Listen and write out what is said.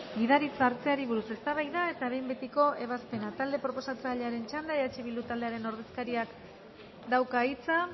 gidaritza hartzeari buruz eztabaida eta behin betiko ebazpena talde proposatzailearen txanda eh bildu taldearen ordezkariak dauka hitza